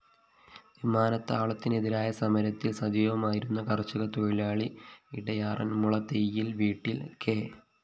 വിമാനത്താവളത്തിനെതിരായ സമരത്തില്‍ സജീവമായിരുന്ന കര്‍ഷകതൊഴിലാളി ഇടയാറന്മുള തൈയ്യില്‍ വീട്ടില്‍ കെ